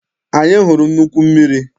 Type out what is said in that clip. Anyị hụrụ nnukwu mmiri.